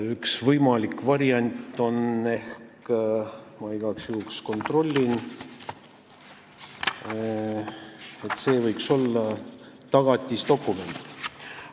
Üks võimalik variant võiks ehk olla "tagatisdokument".